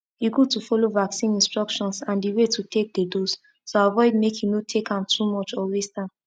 e good to follow vaccine instructions and the way to take the dose to avoid make e no take am too much or waste am